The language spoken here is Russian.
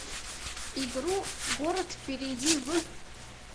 игру город перейди в